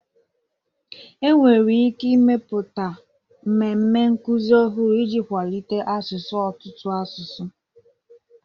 Enwere ike ịmepụta mmemme nkuzi ọhụrụ iji kwalite asụsụ ọtụtụ asụsụ